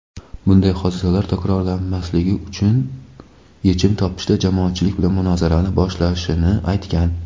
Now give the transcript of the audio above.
bunday hodisalar takrorlanmasligi uchun yechim topishda jamoatchilik bilan munozarani boshlashini aytgan.